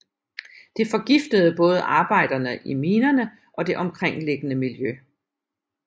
Det forgiftede både arbejderne i minerne og det omkringliggende miljø